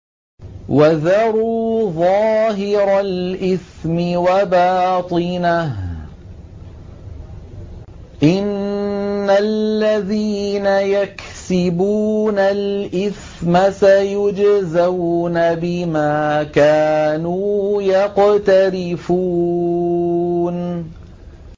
وَذَرُوا ظَاهِرَ الْإِثْمِ وَبَاطِنَهُ ۚ إِنَّ الَّذِينَ يَكْسِبُونَ الْإِثْمَ سَيُجْزَوْنَ بِمَا كَانُوا يَقْتَرِفُونَ